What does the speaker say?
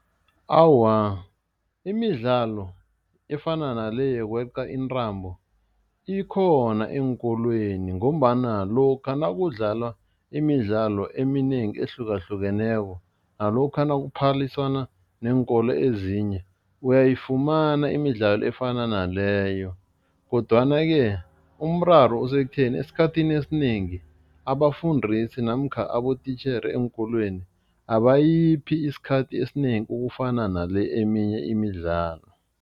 Awa, imidlalo efana nale yokweqa intambo ikhona eenkolweni ngombana lokha nakudlalwa imidlalo eminengi ehlukahlukeneko nalokha nakuphaliswana neenkolo ezinye uyayifumana imidlalo efana naleyo kodwana-ke umraro usekutheni, esikhathini esinengi abafundisi namkha abotitjhere eenkolweni abayiphi isikhathi esinengi ukufana nale eminye imidlalo.